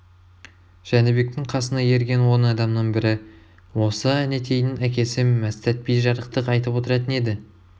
жәнібектің қасына ерген он адамның бірі осы әнетейдің әкесі мәстәт би жарықтық айтып отыратын еді